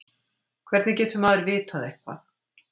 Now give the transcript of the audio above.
hvernig getur maður vitað eitthvað